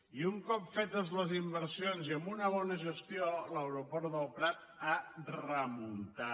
i un cop fetes les inversions i amb una bona gestió l’aeroport del prat ha remuntat